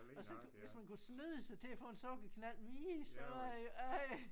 Og så hvis man kunne snyde sig til at få en sukkerknald mere så øh ej